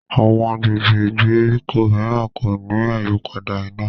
Àwọn agbègbè ìgbèríko míràn kò ní àyípadà iná.